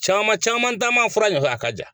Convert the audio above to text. Caman caman taama fura ɲɔfɛ a ka jan.